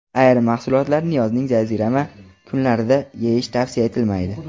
Ayrim mahsulotlarni yozning jazirama kunlarida yeyish tavsiya etilmaydi.